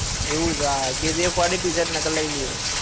એવું જ kgf વળી ટીશર્ટ નકર લઇ લૈયે.